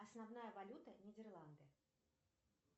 основная валюта нидерланды